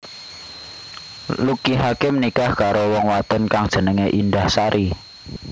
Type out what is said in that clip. Lucky Hakim nikah karo wong wadon kang jenengé Indahsari